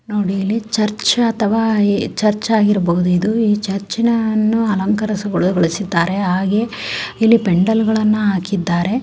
ನೋಡಿ ಇಲ್ಲಿ ಚರ್ಚ್ ಅಥವಾ ಚರ್ಚ್ ಆಗಿರಬಹುದು ಚರ್ಚ ಅನ್ನು ಅಲಂಕಾರ ಗೊಳಿಸಿದ್ದಾರೆ ಆಗೇ ಇಲ್ಲಿ ಪೆಂಡಾಲ್ಗಳನ್ನ ಹಾಕಿದ್ದಾರೆ.